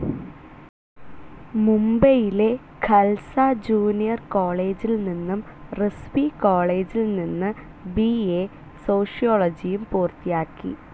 മുംബൈയിലെ ഖൽസ ജൂനിയർ കോളേജിൽ നിന്നും റിസ്‌വി കോളേജിൽ നിന്ന് ബിഎ സോഷ്യോയോളജിയും പൂത്തിയാക്കി.